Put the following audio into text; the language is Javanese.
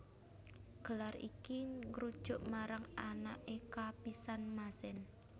Gelar iki ngrujuk marang anaké kapisan Mazen